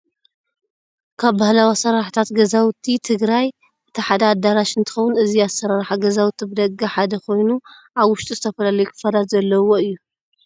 ካብ ባህላዊ ኣሰራርሓታት ገዛውቲ ትግራይ እቲ ሓደ ኣዳራሽ እንትኸውን እዚ ኣሰራርሓ ገዛውቲ ብደገ ሓደ ኾይኑ ኣብ ውሽጡ ዝተፈለለዩ ክፋላት ዘለውዎ እዩ።